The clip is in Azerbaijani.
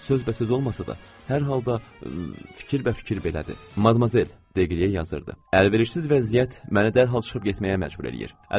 Sözbəsöz olmasa da, hər halda, fikrbəfikir belədir: Madmazel Degryeyə yazırdı: Əlverişsiz vəziyyət məni dərhal çıxıb getməyə məcbur eləyir.